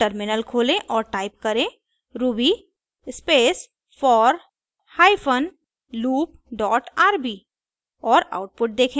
अब टर्मिनल खोलें और टाइप करें ruby space for hyphen loop dot rb